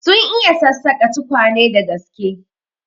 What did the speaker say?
Sun iya sassaka tukwane da gaske.